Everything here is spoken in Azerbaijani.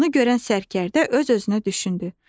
Bunu görən sərkərdə öz-özünə düşündü.